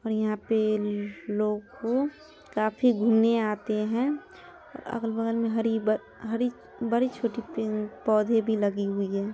और यहा पे लोगों काफी घूमने आते हैं और अगल बगल में हरी ब हरी बड़ी छोटी पेड़ पोधे भी लगी हुई हैं ।